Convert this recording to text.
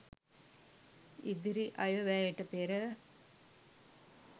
ඉදිරි අයවැයට පෙර